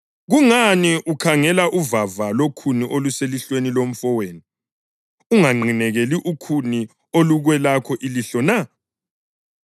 Kungani ukhangela uvava lokhuni oluselihlweni lomfowenu, unganqinekeli ukhuni olukwelakho ilihlo na?